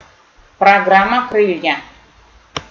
программа крылья